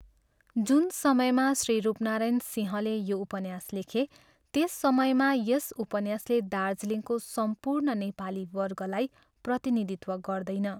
जुन समयमा श्री रूपनारायण सिंहले यो उपन्यास लेखे त्यस समयमा यस उपन्यासले दार्जिलिङको सम्पूर्ण नेपाली वर्गलाई प्रतिनिधित्व गर्दैन।